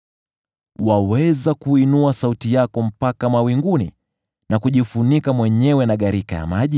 “Waweza kuiinua sauti yako mpaka mawinguni, na kujifunika mwenyewe na gharika ya maji?